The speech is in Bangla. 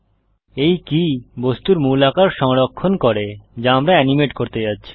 এই কী বস্তুর মূল আকার সংরক্ষণ করে যা আমরা এনিমেট করতে যাচ্ছি